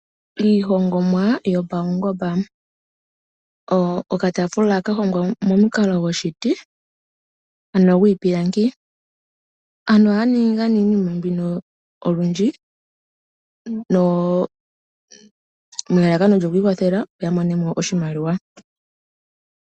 Iihongomwa yopaungomba. Okataafula ka hongwa momukalo goshiti ano gwiipilangi. Aantu ningi iinima mbino olundji nelalakano lyoku ikwathela, opo ya mone mo oshimaliwa.